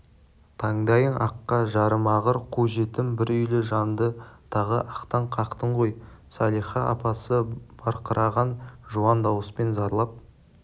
тандайың аққа жарымағыр қу жетім бір үйлі жанды тағы ақтан қақтың ғой салиха апасы барқыраған жуан дауыспен зарлап